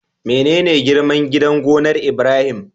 Mene girman gidan gonar Ibrahim?